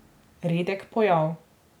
Redek pojav.